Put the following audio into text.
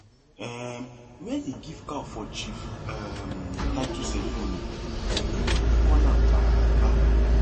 um when he give cow for chief um title ceremony everybody call am baba